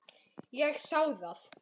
Ég sá það.